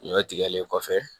Ɲɔ tigɛlen kɔfɛ